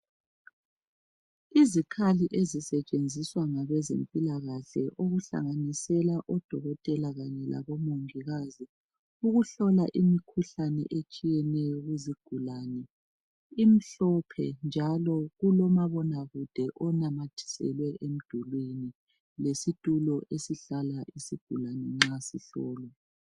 Izikhali esisetshenziswa ngabezempilakahle, okuhlanganisela odokotela kanye labomongikazi ukuhlola imikhuhlane etshiyeneyo kuzigulane imhlophe, njalo kulomabonakude ananyathiselwe emdulini lesitulo esihlahla isigulane nxa sihlolwa.